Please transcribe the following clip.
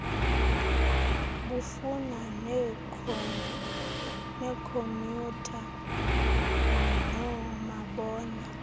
bufana neekhomyutha noomabona